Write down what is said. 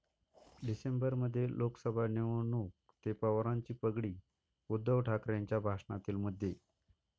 डिसेंबरमध्ये लोकसभा निवडणूक ते पवारांची पगडी, उद्धव ठाकरेंच्या भाषणातील मुद्दे